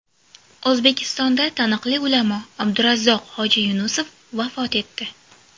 O‘zbekistonda taniqli ulamo Abdurazzoq hoji Yunusov vafot etdi.